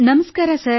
ನಮಸ್ಕಾರ ಸರ್